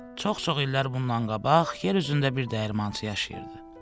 Çox-çox illər bundan qabaq yer üzündə bir dəyirmançı yaşayırdı.